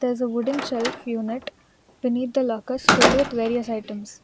There is a wooden shelf unit beneath the lockers filled with various items.